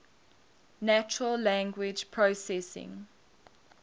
natural language processing